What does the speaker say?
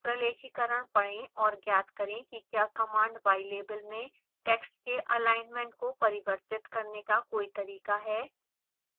प्रलेखीकरण पढ़ें और ज्ञात करें कि क्या command ylabel में टेक्स्ट के alignment को परिवर्तित करने का कोई तरीका है